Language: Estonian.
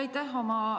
Aitäh!